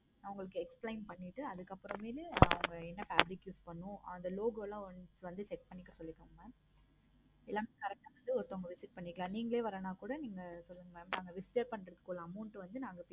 நா உங்களுக்கு explain பண்ணிட்டு நா அதுக்கு அப்பறம் என்ன fabric பண்ணனும் அதுல logo லாம் வந்து set பண்ணி எல்லாமே correct ஒருத்தர் visit பண்ணிக்கலாம். நீங்களே வரான்னு கூட நீங்க சொல்லுங்க mam நாங்க withdraw பண்றதுக்குள்ள amount வந்து